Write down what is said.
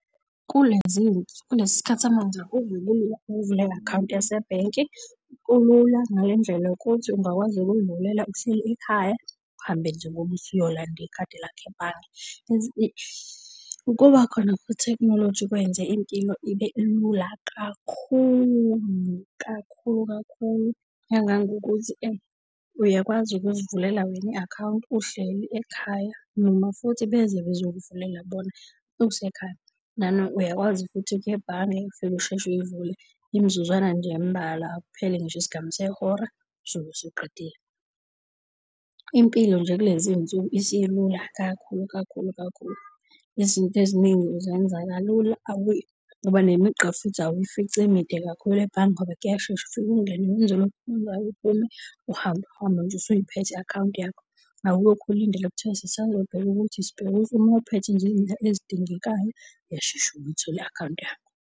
Kulesi sikhathi samanje akuve kulula ukuvula i-akhawunti yasebhenki. Kulula ngale ndlela ungakwazi ukuy'vulela uhleli ekhaya, uhambe nje ngoba usuyolanda ikhadi lakho ebhange. Ukuba khona kwethekhnoloji kwenze impilo ibe lula kakhulu kakhulu kakhulu, kangangokuthi uyakwazi ukuzivulela wena i-akhawunti uhleli ekhaya noma futhi beze bezokuvulela bona usekhaya. Uyakwazi futhi ukuya ebhange ufike usheshe uyivule imizuzwana nje embalwa akupheli ngisho isigamu nehora uzobe usuqedile. Impilo nje kulezi iy'nsuku isilula kakhulu kakhulu kakhulu. Izinto eziningi uzenza kalula ngoba nemigqa futhi awuyifici emide kakhulu ebhange ngoba kuyashesha ufike ungene wenze lokhu okwenzayo uphume uhambe uhambe nje usuyiphethe i-akhawunti yakho. Awulokhu ulinde lokhu kuthiwe sisazobheka ukuthi sibheke , uma uphethe nje ezidingekayo uyashesha ukuyithole i-akhawunti yakho.